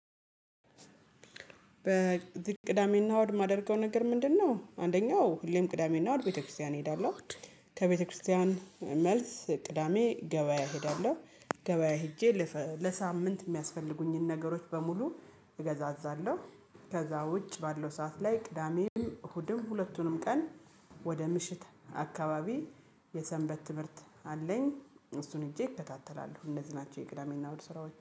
በቅዳሜና እሁድ የማደርገው ነገር ምንድነው አንደኛው ህሊም ቅዳሜና እሁድ ቤተክርስቲያን እሄዳለሁ ከቤተክርስቲያን መልስ ቅዳሜ ገበያ እሄዳለሁ፣ ገበያ ሄጄ ለሳምንት የሚያስፈልጉኝን ነገሮች በሙሉ እገዛዛለሁ ከዛ ውጭ ባለው ሰዓት ላይ ቅዳሜም እሁድም ሁለቱንም ቀን ወደ ምሽት አካባቢ የሰንበት ትምህርት አለኝ እሱን ሄጄ ይከታተላሉ እንደዚህ ናቸው የቅዳሜና ውድ ስራዎች።